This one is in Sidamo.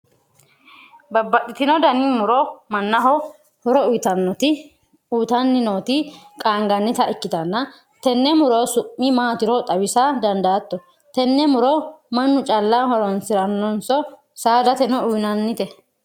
babbaxitino dani muro mannaho horo uyiitanoti nooti qaangannita ikitanna, tenne muro su'mi maatiro xawisa dandaatto? tenne muro mannu callu horonsirannonso saadateno uyiinannite?